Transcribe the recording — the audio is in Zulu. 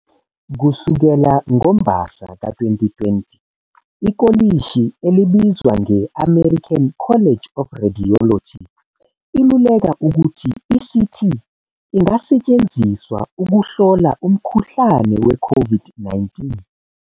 Kusukela ngoMbasa ka-2020, ikolishi elibizwa nge-American College of Radiology iluleka ukuthi i-CT ingasetshenziswa ukuhlola umkhuhlane we-COVID-19.